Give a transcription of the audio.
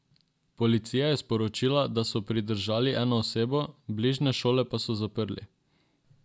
Policija je sporočila, da so pridržali eno osebo, bližnje šole pa so zaprli.